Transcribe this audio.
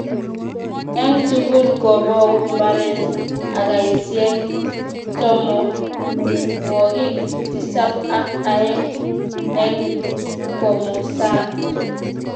eng tugul kobou mbaret ekaisiek tomonwokik tisab ak aeng eng komosato